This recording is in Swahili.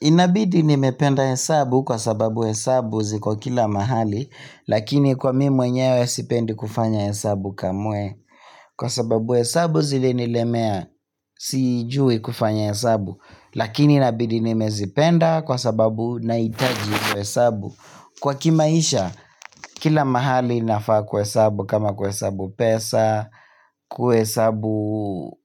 Inabidi nimependa hesabu kwa sababu hesabu ziko kila mahali. Lakini kwa mimi mwenyewe sipendi kufanya hesabu kamwe Kwa sababu hesabu zilinilemea sijui kufanya hesabu. Lakini inabidi nimezipenda kwa sababu nahitaji hiyo hesabu kwa kimaisha kila mahali nafaa kwa hesabu kama kuhesabu pesa, kuhesabu